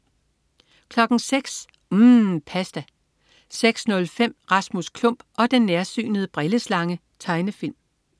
06.00 UMM. Pasta 06.05 Rasmus Klump og den nærsynede brilleslange. Tegnefilm